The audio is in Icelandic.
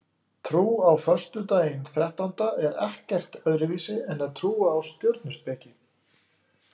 Trú á föstudaginn þrettánda er ekkert öðruvísi en að trúa á stjörnuspeki.